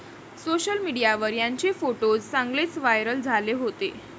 Social मीडियावर यांचे photos चांगलेच व्हायरल झाले होते.